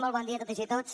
molt bon dia a totes i tots